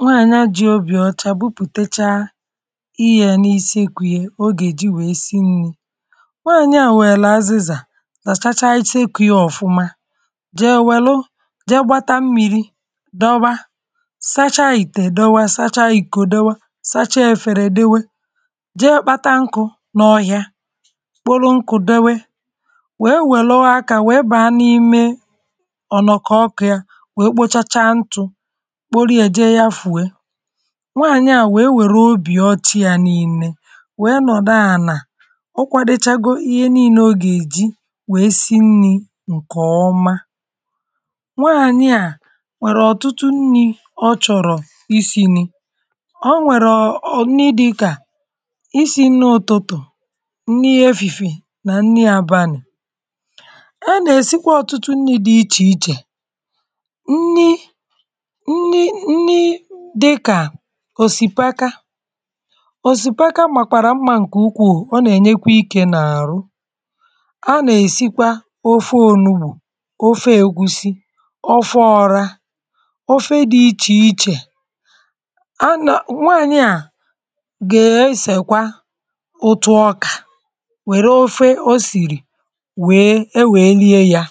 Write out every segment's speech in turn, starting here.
nwaànyị̀ a ji obì ọcha bubùtecha ihe ā n’isi kwi o gà-èji we si nnī nwaànyị̀ a nwèlù azịzà làchacha iche ikē ya ọ̀fụ̀ma jè nwèlu je gbata mmiri dọwa sacha ìtè dowe sacha ikō dowe sacha efērē dowe je kpata nkụ̄ n’ọhịa kpụlụ nkụ̄ dowe we nwèlu akā we bà n’ime ọ̀ nọ̀ kọ kịā we kpochacha ntụ̄ kpolie ā je ya fuhe nwaànyị̀ a we nwèru obì ọcha yā niilē we nọ̀dụ ànà ọ kwadechago ihe niilē ọ gà-èji wé sí nnī ǹkè ọma nwaànyị̀ a nwèrè ọ̀tụtụ nnī ọchọ̀rọ̀ isī nni o nwèrù òni dịkà isī nni òtutù nni efìfiè nà nni abànị̀ a nà-èsikwa ọ̀tụtụ nnī dị ichè ichè nni nni nni dịkà òsìpaka òsìpaka màkwàrà mmā ǹkè ukwū ọ nà-ènyekwa ikē n’àrụ a nà-èsikwa ofe ònugbù ofe ègusi ofe ọrā ofe dị ichè ichè anà nwaànyị̀ a ga-esèkwa otu ọkà nwère ofe osìrì we ewè lie yā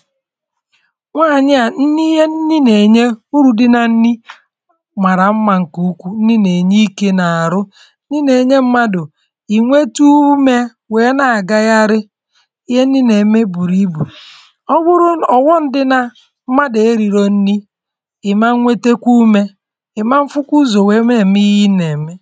nwaànyị̀ a ihe nni nà-ènye urù dị nà nni màrà mmā ǹkè ukwu nni nà-ènye ikē n’àrụ nni nà-ènye mmadụ̀ ị̀ nwetu umē we na gagharị ihe nni nà-ème bùrù ibù ọ wụrụ ọ̀ghọm dị nā mmadụ̀ erīriō nni ị̀ ma nwetekwa umē ị̀ ma fụkwa ụzọ̀ we nà-ème ihe ị̀ nà-ème